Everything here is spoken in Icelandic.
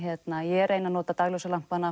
ég reyni að nota